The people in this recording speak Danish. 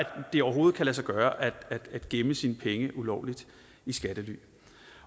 det overhovedet kan lade sig gøre at gemme sine penge ulovligt i skattely